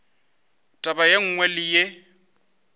taba ye nngwe le ye